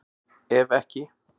Ef ekki